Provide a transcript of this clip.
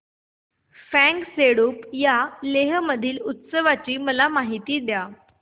फ्यांग सेडुप या लेह मधील उत्सवाची मला माहिती द्या